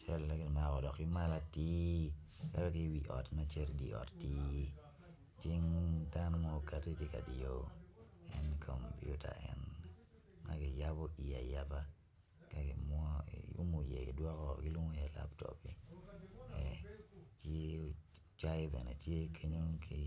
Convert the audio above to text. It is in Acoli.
Cal eni kimako ki malo atir cal cing dano ma tye ka diyo kom piuta ma kiyabo ayaba ma kilwongo ni laptop cayi bene tye kenyu ki